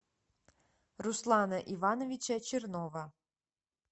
руслана ивановича чернова